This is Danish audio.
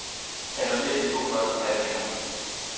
Annullér de to første handlinger.